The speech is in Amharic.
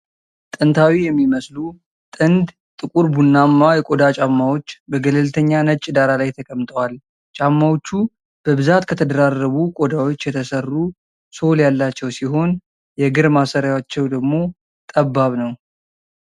ጥንታዊ የሚመስሉ ጥንድ ጥቁር ቡናማ የቆዳ ጫማዎች በገለልተኛ ነጭ ዳራ ላይ ተቀምጠዋል። ጫማዎቹ በብዛት ከተደራረቡ ቆዳዎች የተሰሩ ሶል ያላቸው ሲሆን፣ የእግር ማሰሪያቸው ደግሞ ጠባብ ነው።